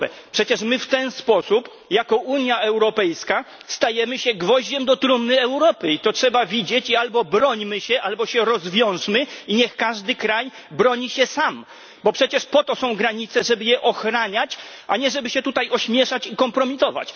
Przecież my w ten sposób, jako Unia Europejska, stajemy się gwoździem do trumny Europy i to trzeba widzieć albo bronimy się, albo się rozwiążmy i niech każdy kraj broni się sam, bo przecież po to są granice, żeby je ochraniać, a nie żeby się tutaj ośmieszać i kompromitować.